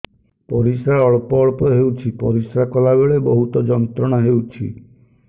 ପରିଶ୍ରା ଅଳ୍ପ ଅଳ୍ପ ହେଉଛି ପରିଶ୍ରା କଲା ବେଳେ ବହୁତ ଯନ୍ତ୍ରଣା ହେଉଛି